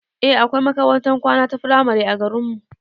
Eh akwai makarantar kwana ta firamare a garinmu